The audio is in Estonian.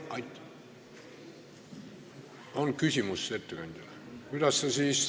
Kas on küsimus ettekandjale?